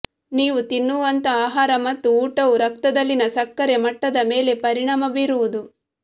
ನೀವು ತಿನ್ನುವಂತಹ ಆಹಾರ ಮತ್ತು ಊಟವು ರಕ್ತದಲ್ಲಿನ ಸಕ್ಕರೆ ಮಟ್ಟದ ಮೇಲೆ ಪರಿಣಾಮ ಬೀರುವುದು